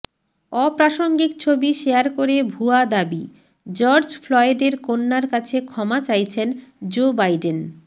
অপ্রাসঙ্গিক ছবি শেয়ার করে ভুয়া দাবিঃ জর্জ ফ্লয়েডের কন্যার কাছে ক্ষমা চাইছেন জো বাইডেন